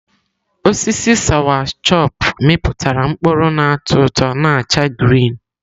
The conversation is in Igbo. Osisi sawachọpụ mịpụtara mkpụrụ n'atọ ụtọ na acha grịn.